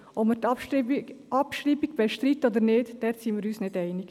Bei der Abschreibungsfrage sind wir uns nicht einig.